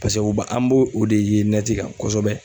u ba ,an b'o de ye kan kosɛbɛ.